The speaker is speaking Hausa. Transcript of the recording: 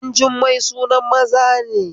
Dajummai sunan maza